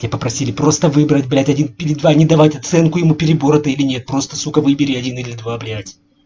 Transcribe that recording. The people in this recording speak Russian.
тебя попросили просто выбрать блять один или два не давать оценку ему перебор это или нет просто сука выбери один или два блять